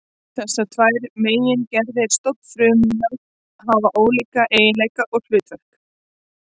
Þessar tvær megingerðir stofnfrumna hafa ólíka eiginleika og hlutverk.